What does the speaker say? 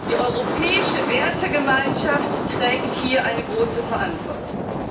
Die europäische Wertegemeinschaft trägt hier eine große Verantwortung.